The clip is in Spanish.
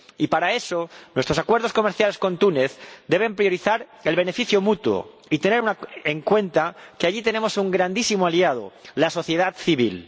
Y para eso, nuestros acuerdos comerciales con Túnez deben priorizar el beneficio mutuo y tener en cuenta que allí tenemos un grandísimo aliado la sociedad civil.